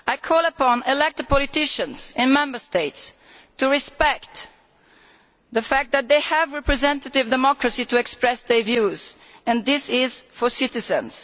I call upon elected politicians in Member States to respect the fact that they have representative democracy to express their views and this initiative is for citizens.